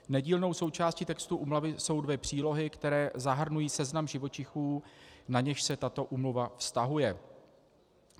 Nedílnou součástí textu úmluvy jsou dvě přílohy, které zahrnují seznam živočichů, na něž se tato úmluva vztahuje.